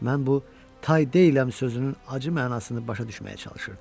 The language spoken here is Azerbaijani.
Mən bu "tay deyiləm" sözünün acı mənasını başa düşməyə çalışırdım.